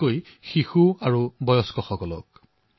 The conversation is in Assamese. বিশেষকৈ ঘৰৰ শিশু ঘৰৰ বয়স্ক লোকসকলক